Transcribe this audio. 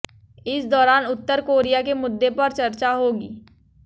इस दौरान उत्तर कोरिया के मुद्दे पर चर्चा होगी